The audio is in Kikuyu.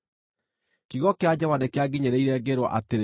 Kiugo kĩa Jehova nĩkĩanginyĩrĩire, ngĩĩrwo atĩrĩ: